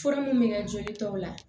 Fura mun bɛ kɛ joli tɔw la